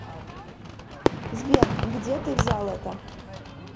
сбер где ты взял это